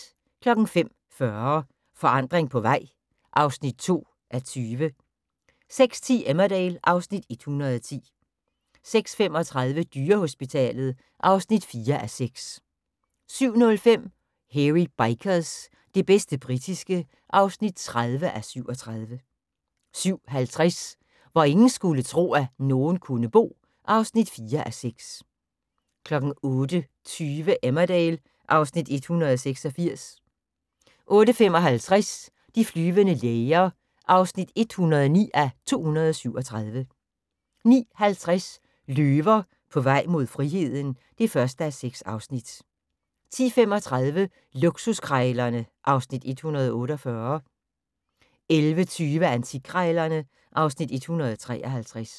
05:40: Forandring på vej (2:20) 06:10: Emmerdale (Afs. 110) 06:35: Dyrehospitalet (4:6) 07:05: Hairy Bikers – det bedste britiske (30:37) 07:50: Hvor ingen skulle tro, at nogen kunne bo (4:6) 08:20: Emmerdale (Afs. 186) 08:55: De flyvende læger (109:237) 09:50: Løver på vej mod friheden (1:6) 10:35: Luksuskrejlerne (Afs. 148) 11:20: Antikkrejlerne (Afs. 153)